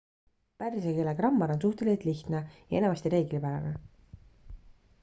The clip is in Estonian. pärsia keele grammar on suhteliselt lihtne ja enamasti reeglipärane